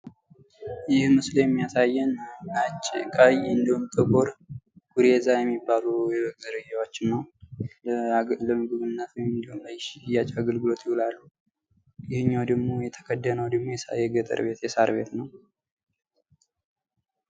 ይህ ምስል የሚያሳየን ነጭ ቀይ እንድሁም ጥቁር ጉሬዛ የሚባሉ የበግ ዝርያዎችን ነው። ለምግብነት አገልግሎት ለሽያጭ አገልግሎት ይውላሉ። ይህኛው ደግሞ የተከደነው ደግሞ የገጠር የሳር ቤት ነው።